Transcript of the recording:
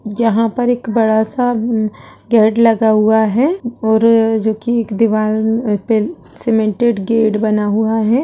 यहाँ पर एक बड़ा सा गेट लगा हुआ है और जोकि एक दीवाल पे सीमेंटेड गेट बना हुआ है।